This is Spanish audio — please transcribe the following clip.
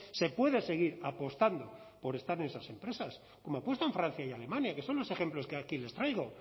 se puede seguir apostando por estar en esas empresas como apuestan francia y alemania que son los ejemplos que aquí les traigo